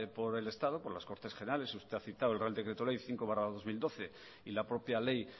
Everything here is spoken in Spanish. por el estado por las cortes generales y usted ha citado el real decreto ley cinco barra dos mil doce y la propia ley